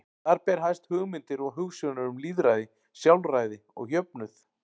Þar ber hæst hugmyndir og hugsjónir um lýðræði, sjálfræði og jöfnuð.